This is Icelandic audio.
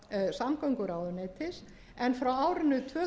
samgönguráðuneytis en frá árinu